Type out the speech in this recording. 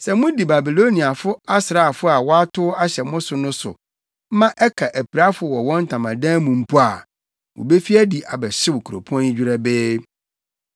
Sɛ mudi Babiloniafo asraafo a wɔatow ahyɛ mo so no so ma ɛka apirafo wɔ wɔn ntamadan mu mpo a, wobefi adi abɛhyew kuropɔn yi dwerɛbee.”